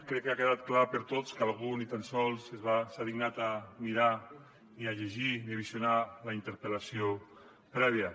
crec que ha quedat clar per a tots que algú ni tan sols s’ha dignat a mirar ni a llegir ni a visionar la interpel·lació prèvia